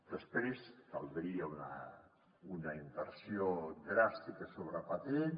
després caldria una inversió dràstica sobre patents